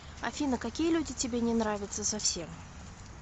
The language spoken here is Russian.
афина какие люди тебе не нравятся совсем